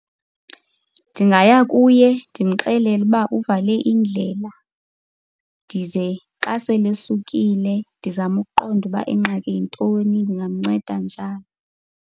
Ndingaya kuye ndimxelele uba uvale indlela. Ndize xa sele esukile, ndizame ukuqonda ukuba ingxaki yintoni, ndingamnceda njani.